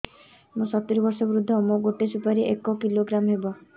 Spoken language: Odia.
ମୁଁ ସତୂରୀ ବର୍ଷ ବୃଦ୍ଧ ମୋ ଗୋଟେ ସୁପାରି ଏକ କିଲୋଗ୍ରାମ ହେବ